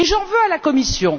J'en veux à la Commission.